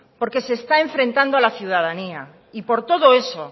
porque se está enfrentando a la ciudadanía y por todo eso